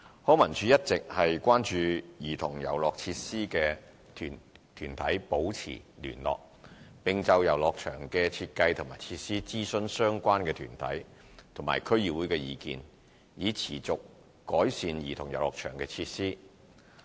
康文署一直與關注兒童遊樂設施的團體保持聯絡，並就遊樂場的設計及設施諮詢相關團體及區議會的意見，以持續改善兒童遊樂場設施。